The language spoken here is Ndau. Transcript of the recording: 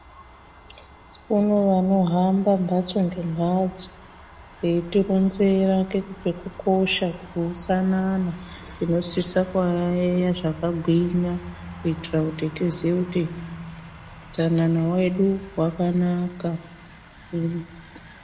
Kune vanohamba mhatso ngemhatso veitoronzera ngekukosha kweutsanana tinosise kuyayeya zvakagwinya kuitira kuti tiziye kuti utsanana hwedu hwakanaka.